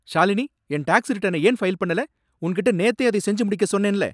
ஷாலினி, என் டாக்ஸ் ரிட்டர்னை ஏன் ஃபைல் பண்ணல? உன்கிட்ட நேத்தே அதை செஞ்சு முடிக்க சொன்னேன்ல.